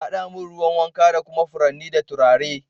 ka haɗa min ruwan wanka da kuma furanni da turare.